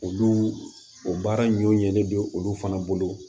Olu o baara ɲɔ ɲɛ ne bɛ olu fana bolo